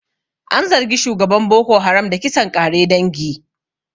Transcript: An zargi shugaban Boko Haram da kisan ƙare dangi.